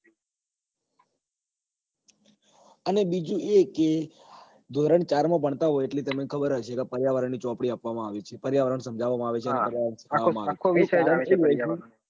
અને બીજું એ કે ધોરણ ચાર માં ભણતા હોય એટલે તમને ખબર હશે કે પર્યાવરણ ની ચોપડી આપવા માં આવે છે પર્યાવરણ સમજાવવા માં આવે છે